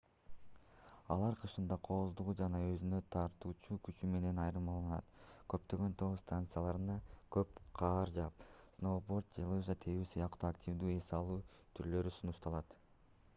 алар кышында кооздугу жана өзүнө тартуучу күчү менен айырмаланат көптөгөн тоо станцияларына көп кар жаап сноуборд же лыжа тебүү сыяктуу активдүү эс алуу түрлөрү сунушталат